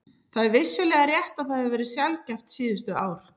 Það er vissulega rétt að það hefur verið sjaldgæft síðustu ár.